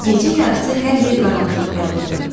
Gecə yarısı hər yer qaranlığa qərq oldu.